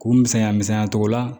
K'u misɛnya misɛnya togo la